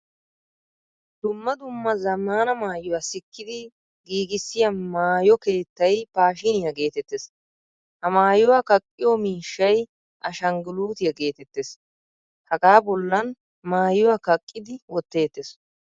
Dumma dumma zammaana maayuwa sikkidi giigisiyaa maayo keettay pashiniyaa geetettees. Ha maayuwaa kaqqiyo miishshay ashanggulutiya geetettees. Hagaa bollan maayuwaa kaqqidi wotteettees.